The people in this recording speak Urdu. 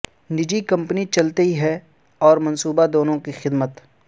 نجی کمپنی چلتی ہے اور منصوبہ دونوں کی خدمت